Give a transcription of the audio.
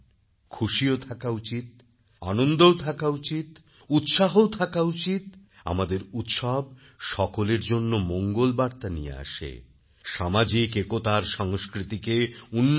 খুশিও থাকা উচিত আনন্দও থাকা উচিত উৎসাহও থাকা উচিত আমাদের উৎসব সকলের জন্য মঙ্গলবার্তা নিয়ে আসে সামাজিক একতার সংস্কৃতিকে উন্নত করে